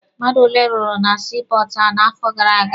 Mmadụ ole rụrụ na sii pọọtụ ahụ n'afọ gara aga?